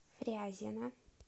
фрязино